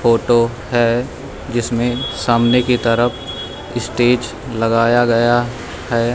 Photo है जिसमें सामने की तरफ स्टेज लगाया गया हैं।